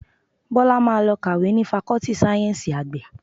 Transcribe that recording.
Bọ́lá máa lọ kàwé ni Fakọ́tì Sáyẹ́ńsì Àgbẹ̀